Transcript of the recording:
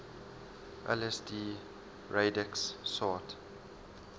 lsd radix sort